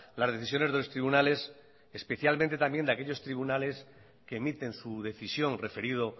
las decisiones de los tribunales especialmente también de aquellos tribunales que emiten su decisión referido